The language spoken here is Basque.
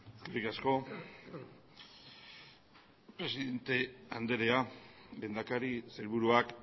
eskerrik asko presidente andrea lehendakari sailburuak